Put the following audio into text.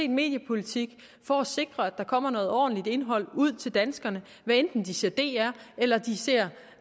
mediepolitik for at sikre at der kommer noget ordentligt indhold ud til danskerne hvad enten de ser dr eller de ser